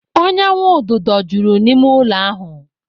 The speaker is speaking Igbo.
Ọnyanwududo juru n'ime ụlọ ahụ.